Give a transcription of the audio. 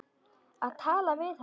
Að tala við hana!